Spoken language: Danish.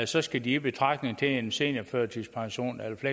så skal de i betragtning til en seniorførtidspension eller til